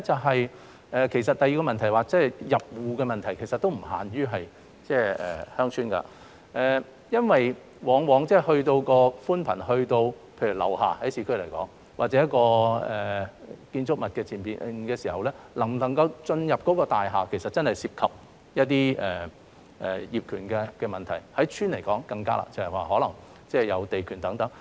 第二是入戶的問題，其實這並不限於鄉村，因為在市區方面，寬頻往往到達樓下或者建築物前面時，能否進入大廈其實也涉及到一些業權問題，對鄉村來說便更困難，可能是涉及地權問題等。